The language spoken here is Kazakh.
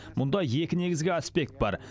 мұнда екі негізгі аспект бар